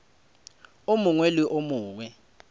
o mongwe le o mongwe